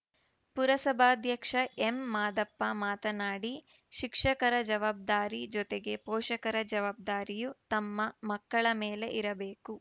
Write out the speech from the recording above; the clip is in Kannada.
ಪುರಸಭಾಧ್ಯಕ್ಷ ಎಂಮಾದಪ್ಪ ಮಾತನಾಡಿ ಶಿಕ್ಷಕರ ಜವಬ್ದಾರಿ ಜೊತೆಗೆ ಪೋಷಕರ ಜವಾಬ್ದಾರಿಯೂ ತಮ್ಮ ಮಕ್ಕಳ ಮೇಲೆ ಇರಬೇಕು